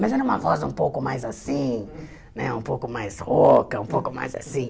Mas era uma voz um pouco mais assim, né, um pouco mais rouca, um pouco mais assim.